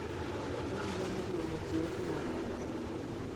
ekiyieu nikiiun irkiek kumok.